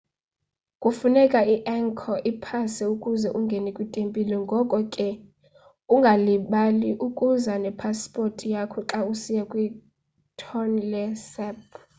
kufuneka i-angkor pass ukuze ungene kwitempile ngoko ke ungalibali ukuza nepasipothi yakho xa usiya kwi-tonle sap